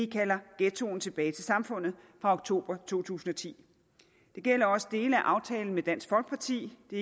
kalder ghettoen tilbage til samfundet fra oktober to tusind og ti det gælder også dele af aftalen med dansk folkeparti det